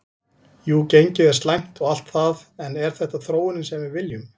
Jú gengið er slæmt og allt það en er þetta þróunin sem við viljum?